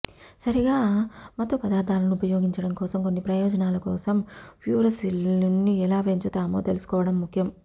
సరిగా మత్తుపదార్థాలను ఉపయోగించడం కోసం కొన్ని ప్రయోజనాల కోసం ఫ్యూరసిలిన్ను ఎలా పెంచుతామో తెలుసుకోవడం ముఖ్యం